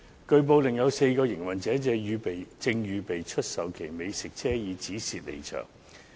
據報，另有4個營運者正準備出售其美食車以止蝕離場。